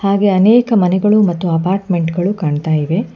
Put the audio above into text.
ಹಾಗೆ ಅನೇಕ ಮನೆಗಳು ಮತ್ತು ಅಪಾರ್ಟ್ಮೆಂಟ್ ಗಳು ಕಾಣ್ತಾ ಇವೆ.